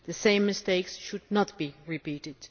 The same mistakes should not be repeated.